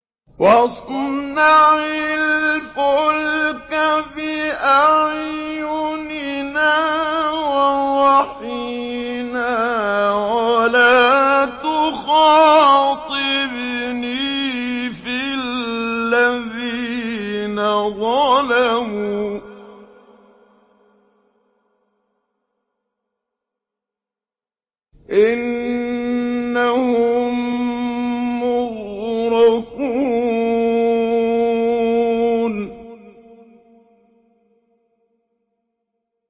وَاصْنَعِ الْفُلْكَ بِأَعْيُنِنَا وَوَحْيِنَا وَلَا تُخَاطِبْنِي فِي الَّذِينَ ظَلَمُوا ۚ إِنَّهُم مُّغْرَقُونَ